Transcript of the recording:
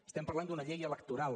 estem parlant d’una llei electoral